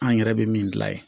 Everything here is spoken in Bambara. An yɛrɛ bɛ min gilan ye